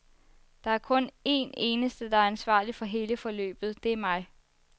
Der er kun een eneste, der er ansvarlig for hele forløbet, det er mig.